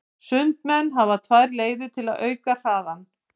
Sundmenn hafa tvær leiðir til að auka hraðann.